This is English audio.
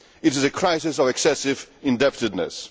It is a crisis of excessive indebtedness.